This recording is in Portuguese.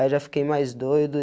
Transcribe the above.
Aí, já fiquei mais doido.